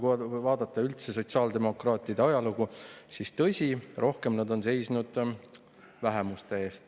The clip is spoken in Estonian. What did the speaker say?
Kui vaadata üldse sotsiaaldemokraatide ajalugu, siis tõsi, rohkem on nad seisnud vähemuste eest.